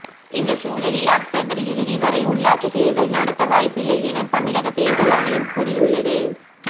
இந்த சூழலில் அக்டோபர் இறுதி வரை உள்ளாட்சி தேர்தல் நடத்த வாய்ப்பில்லை என தமிழக தேர்தல் ஆணையம் கூறியுள்ளது